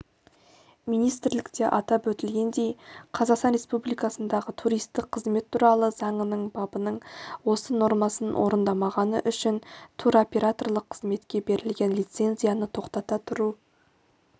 министрлікте атап өтілгендей қазақстан республикасындағы туристік қызмет туралы заңының бабының осы нормасын орындамағаны үшін туроператорлық қызметке берілген лицензияны тоқтата тұру түріндегі